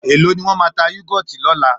Èló ni wọ́n máa ta Yúgọ́ọ̀tì lọ́la?